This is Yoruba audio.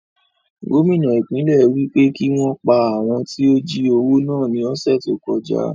Gómìnà ìpínlẹ̀ wí pé kí wọn pa àwọn tí ó jí owó náà ní ọ̀sẹ̀ tí ó kọjá